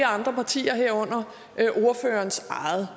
andre partier herunder ordførerens eget